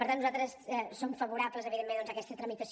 per tant nosaltres som favorables evidentment doncs a aquesta tramitació